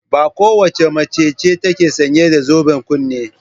Ba kowace mace ce take sanye da zoben kunne.